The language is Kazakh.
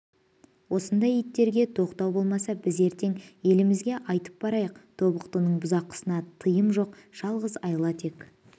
осындай иттерге тоқтау болмаса біз ертең елімізге айтып барайық тобықтының бұзақысына тыйым жоқ жалғыз айла тек